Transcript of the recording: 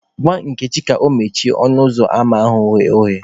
Gwa Nkechi ka o mechie ọnụ ụzọ ama anyị ghe oghe